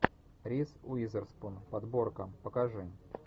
риз уизерспун подборка покажи